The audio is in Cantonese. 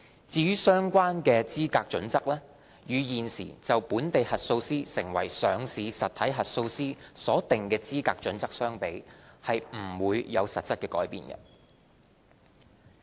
至於相關的資格準則，與現時就本地核數師成為上市實體核數師所訂的資格準則相比，不會有實質改變。